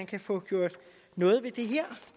kan få gjort noget ved det her